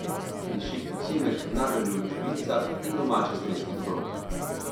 Diši po cimetu, nageljnovih žbicah in domačih slovenskih dobrotah.